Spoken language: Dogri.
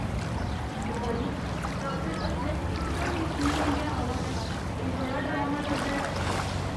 पिता जी, डाक्टर हत्थै च इक बड्डी सूई लेइयै आवा दा ऐ। एह् बड़ा डरौना लगदा ऐ।